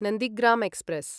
Nandigram express